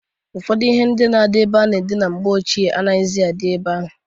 Ụfọdụ ihe na-adị na-ebe a na-adina na mgbe ochie anaghịzị adị ebe ahụ.